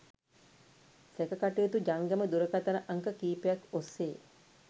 සැකකටයුතු ජංගම දුරකථන අංක කීපයක්‌ ඔස්‌සේ